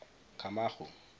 camagu